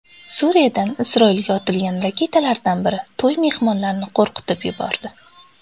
Suriyadan Isroilga otilgan raketalardan biri to‘y mehmonlarini qo‘rqitib yubordi.